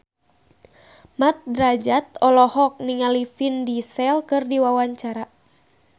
Mat Drajat olohok ningali Vin Diesel keur diwawancara